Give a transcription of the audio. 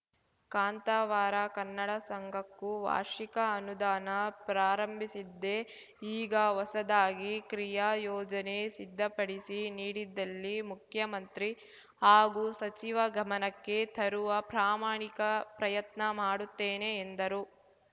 ಕಾಂತಾವಾರ ಕನ್ನಡ ಸಂಘಕ್ಕೂ ವಾರ್ಷಿಕ ಅನುದಾನ ಪ್ರಾರಂಭಿಸಿದ್ದೆ ಈಗ ಹೊಸದಾಗಿ ಕ್ರಿಯಾ ಯೋಜನೆ ಸಿದ್ಧಪಡಿಸಿ ನೀಡಿದ್ದಲ್ಲಿ ಮುಖ್ಯಮಂತ್ರಿ ಹಾಗೂ ಸಚಿವ ಗಮನಕ್ಕೆ ತರುವ ಪ್ರಾಮಾಣಿಕ ಪ್ರಯತ್ನ ಮಾಡುತ್ತೇನೆ ಎಂದರು